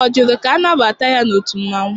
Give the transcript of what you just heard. Ọ jụrụ ka anabata ya n'otu mmanwụ?